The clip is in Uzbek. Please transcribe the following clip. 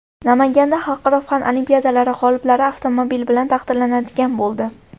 Namanganda xalqaro fan olimpiadalari g‘oliblari avtomobil bilan taqdirlanadigan bo‘ldi.